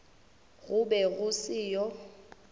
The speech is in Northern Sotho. go be go se yo